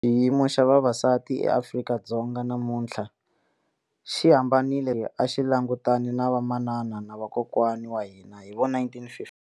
Xiyimo xa vavas atieAfrika-Dzonga namuntlha xi hambanile swinene na lexi a xi langutane na vamanana na vakokwana wa hina hi 1956.